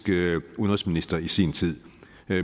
udenrigsminister i sin tid